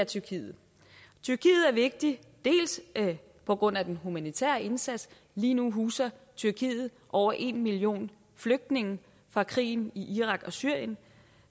tyrkiet er vigtig på grund af den humanitære indsats lige nu huser tyrkiet over en million flygtninge fra krigen i irak og syrien